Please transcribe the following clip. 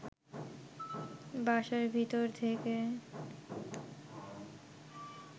বাসার ভিতর থেকে